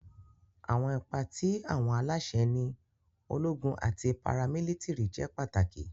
Awọn ipa ti awọn alaṣẹ ni ologun ati paramilitiri jẹ pataki.